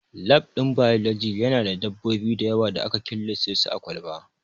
Lab ɗin biology Yana da dabbobi da yawa da aka killace su a kwalba